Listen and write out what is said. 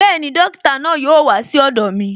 Bẹẹni, dókítà náà yóò wá sí ọ̀dọ̀ mi